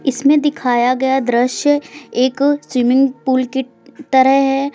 इसमें दिखाया गया दृश्य एक स्विमिंग पूल की तरह है।